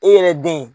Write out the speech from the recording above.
E yɛrɛ den